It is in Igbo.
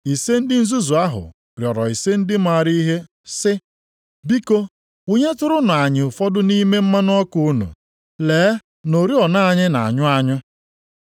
Ise ndị nzuzu ahụ rịọrọ ise ndị maara ihe sị, ‘Biko, wụnyetụrụnụ anyị ụfọdụ nʼime mmanụ ọkụ unu, lee na oriọna anyị na-anyụ anyụ.’